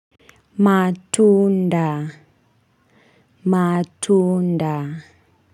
Matunda matunda.